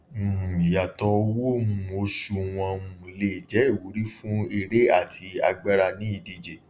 um ìyàtọ owó um oṣù wọn um lè jẹ ìwúrí fún eré àti agbára ní ìdíje